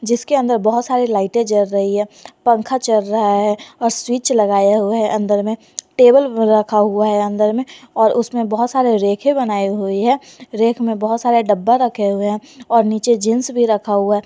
जिसके अंदर बहोत सारे लाइटें जल रही है पंखा चल रहा है और स्विच लगाया हुआ है अंदर में टेबल रखा हुआ है अंदर में और उसमें बहुत सारे रैक बनाए हुए हैं रैक मेंब बहोत सारे डब्बा रखे हुए हैं और नीचे जींस भी रखा हुआ है।